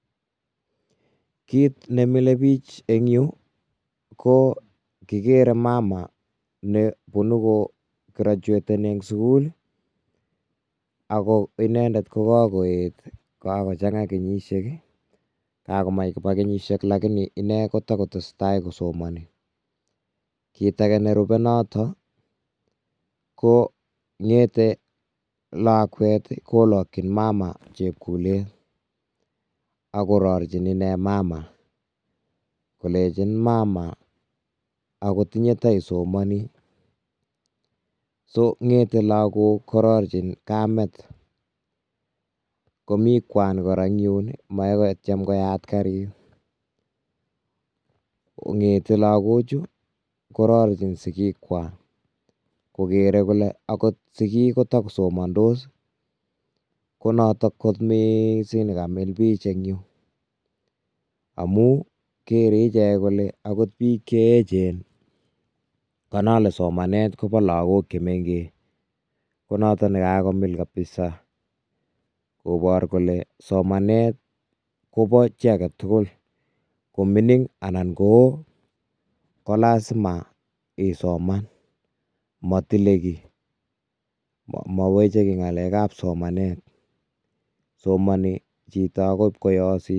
Kiit nemilebik eng' yuu ko kikere mama nekoo kirochweteni en sukul ak ko inendet ko kokoet ko chang'a kenyishek, kakomach koba kenyishek lakini inee kotokotesetai kosomoni kiit akee nerube noton ko ng'ete lakwet kilokyin mama chepkulet ak kororechin inee mama kolenchin mama akot inyee koteisomoni, soo ng'ete lokok kororechin kameet, komii kwaan kora eng' yuun moee kotiem koyat kariit ong'ete lokochu kororechin sikikwak, kokere kolee akot sikiik kotokosomondos ii, konotok kot mising nekamil biik chuu eng' yuu amun kere ichek kole akot biik cheechen, konai Kole somanet koboo lokok chemeng'ech, konoton nekakomil kabisaa kobor kolee somanet koboo chii aketukul koming'in anan kowoo kolasima isoman, motile kii, moweche kii ng'alekab somanet somoni akot chito koyosit.